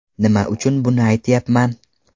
Nima uchun buni aytyapman?